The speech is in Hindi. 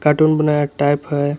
कार्टून बनाया टाइप है।